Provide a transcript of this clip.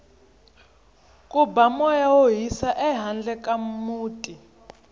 ku ba moya wo hisa ehandle ka muti